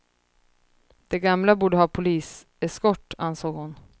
De gamla borde ha poliseskort, ansåg hon.